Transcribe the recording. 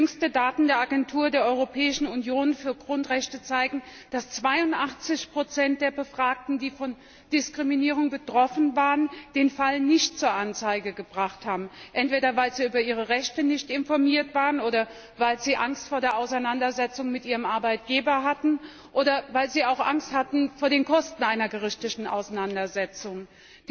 Jüngste Daten der Agentur der Europäischen Union für Grundrechte zeigen, dass 82 der Befragten, die von Diskriminierung betroffen waren, den Fall nicht zur Anzeige gebracht haben. Entweder, weil sie nicht über ihre Rechte informiert waren, oder weil sie Angst vor einer Auseinandersetzung mit ihrem Arbeitgeber hatten, oder weil sie auch Angst vor den Kosten einer gerichtlichen Auseinandersetzung hatten.